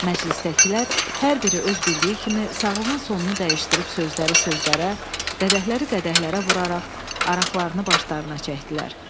Məclisdəkilər hər biri öz bildiyi kimi sağlığın sonunu dəyişdirib sözləri sözlərə, qədəhləri qədəhlərə vuraraq araqlarını başlarına çəkdilər.